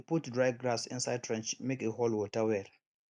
we put dry grass inside trench make e hold water well